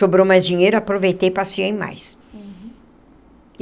Sobrou mais dinheiro, aproveitei e passeei mais. Uhum.